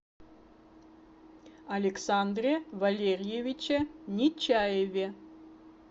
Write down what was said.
александре валерьевиче нечаеве